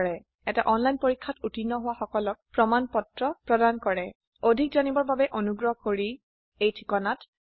এটা অনলাইন পৰীক্ষাত উত্তীৰ্ণ হোৱা সকলক প্ৰমাণ পত্ৰ প্ৰদান কৰে অধিক জানিবৰ বাবে অনুগ্ৰহ কৰি contactspoken tutorialorg এই ঠিকনাত লিখক